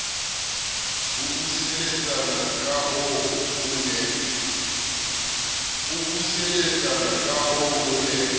a buseletsana kahoo o ne